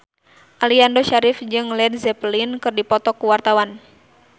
Aliando Syarif jeung Led Zeppelin keur dipoto ku wartawan